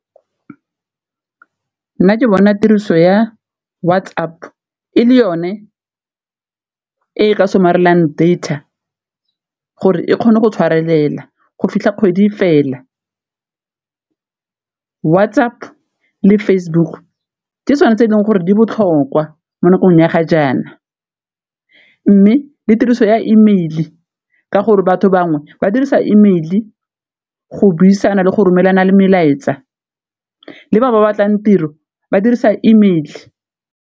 Nna ke bona tiriso ya WhatsApp e le yone e ka somarelang data gore e kgone go tshwarelela go fitlha kgwedi fela. WhatsApp le Facebook ke tsone tse e leng gore di botlhokwa mo nakong ya ga jaana, mme le tiriso ya email ka gore batho bangwe ba dirisa email go buisana le go romelana melaetsa le ba ba batlang tiro ba dirisa email.